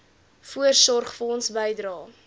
voorsorgfonds bydrae